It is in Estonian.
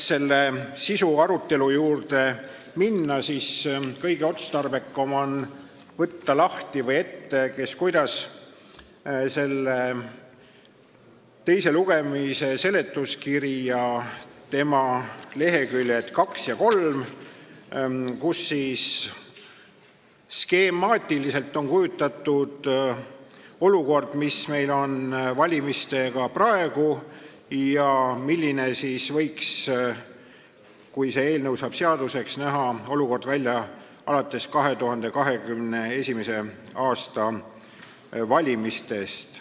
Sisu juurde minnes on kõige otstarbekam võtta lahti või ette, kes kuidas, teise lugemise seletuskirja leheküljed 2 ja 3, kus on skemaatiliselt kujutatud olukord, mis meil valimistega praegu on ja milline võiks – kui see eelnõu saab seaduseks – näha olukord välja alates 2021. aasta valimistest.